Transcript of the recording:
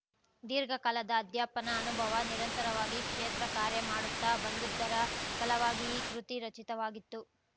ದೀರ್ಘ ಕಾಲದ ಅಧ್ಯಾಪನ ಅನುಭವ ನಿರಂತರವಾಗಿ ಕ್ಷೇತ್ರ ಕಾರ್ಯ ಮಾಡುತ್ತಾ ಬಂದುದ್ದರ ಫಲವಾಗಿ ಈ ಕೃತಿ ರಚಿತವಾಗಿತ್ತು